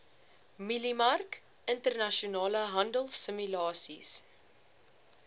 mieliemark internasionale handelsimulasies